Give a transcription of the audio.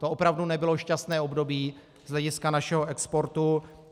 To opravdu nebylo šťastné období z hlediska našeho exportu.